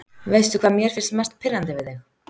Veistu hvað mér finnst mest pirrandi við þig?